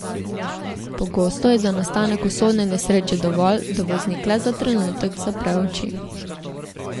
Pogosto je za nastanek usodne nesreče dovolj, da voznik le za trenutek zapre oči.